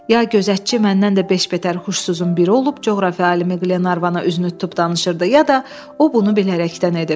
Ya gözətçi məndən də beş betər huşsuzun biri olub, coğrafiya alimi Qlenarvana üzünü tutub danışırdı, ya da o bunu bilərəkdən edib.